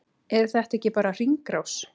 Er þetta ekki bara hringrás?